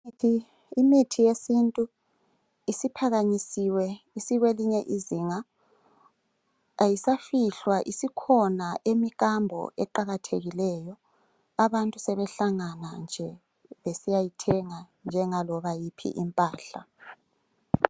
Imithi yesintu isiphakanyisiwe isikwelinye izinga ayisafihlwa isikhona emikambo eqakathekileyo abntu sebehlangana nje besiyayithenga njengaloba yiphi impahla.